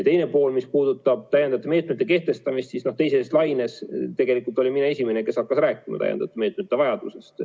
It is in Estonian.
Teiseks, mis puudutab täiendavate meetmete kehtestamist, siis teises laines tegelikult olin mina esimene, kes hakkas rääkima täiendavate meetmete vajadusest.